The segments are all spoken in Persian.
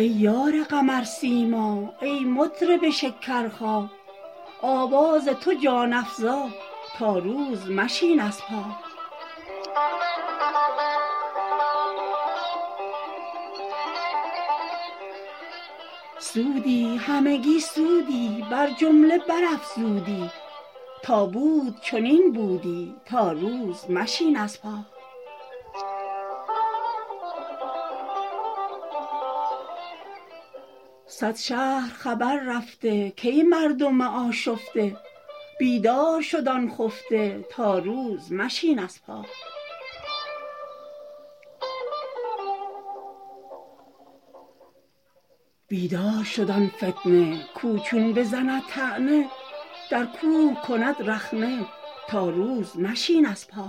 ای یار قمرسیما ای مطرب شکرخا آواز تو جان افزا تا روز مشین از پا سودی همگی سودی بر جمله برافزودی تا بود چنین بودی تا روز مشین از پا صد شهر خبر رفته کای مردم آشفته بیدار شد آن خفته تا روز مشین از پا بیدار شد آن فتنه کاو چون بزند طعنه در کوه کند رخنه تا روز مشین از پا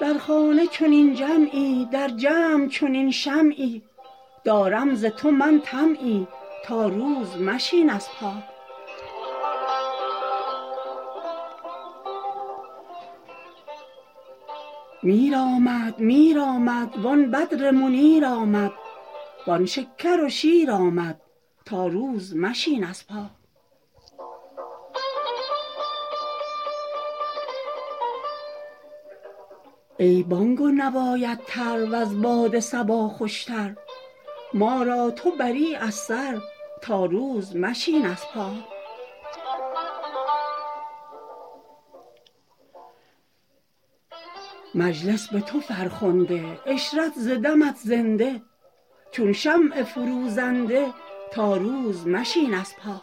در خانه چنین جمعی در جمع چنین شمعی دارم ز تو من طمعی تا روز مشین از پا میر آمد میر آمد وان بدر منیر آمد وان شکر و شیر آمد تا روز مشین از پا ای بانگ و نوایت تر وز باد صبا خوشتر ما را تو بری از سر تا روز مشین از پا مجلس به تو فرخنده عشرت ز دمت زنده چون شمع فروزنده تا روز مشین از پا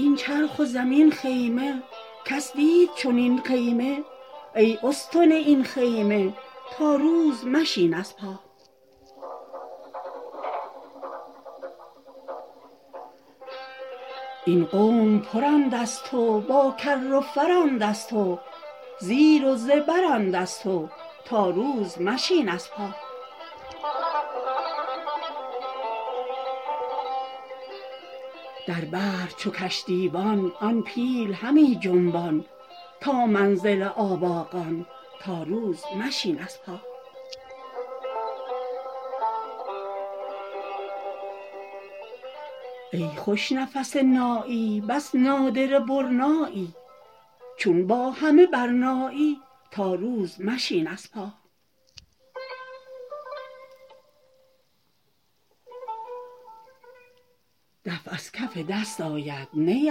این چرخ و زمین خیمه کس دید چنین خیمه ای استن این خیمه تا روز مشین از پا این قوم پرند از تو با کر و فرند از تو زیر و زبرند از تو تا روز مشین از پا در بحر چو کشتیبان آن پیل همی جنبان تا منزل آباقان تا روز مشین از پا ای خوش نفس نایی بس نادره برنایی چون با همه برنایی تا روز مشین از پا دف از کف دست آید نی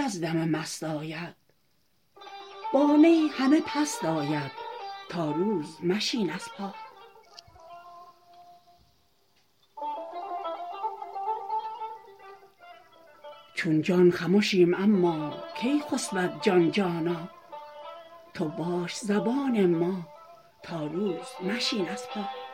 از دم مست آید با نی همه پست آید تا روز مشین از پا چون جان خمشیم اما کی خسبد جان جانا تو باش زبان ما تا روز مشین از پا